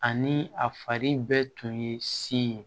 Ani a fari bɛɛ tun ye sin ye